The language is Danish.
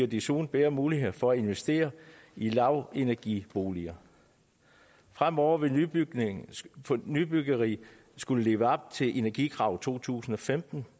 desuden flere muligheder for at investere i lavenergiboliger fremover vil nybyggeri nybyggeri skulle leve op til energikravene fra to tusind og femten